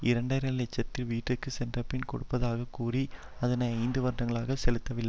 இரண்டரை லட்சத்தை வீட்டிற்கு சென்றபின் கொடுப்பதாகக் கூறி அதனை ஐந்து வருடங்களாக செலுத்தவில்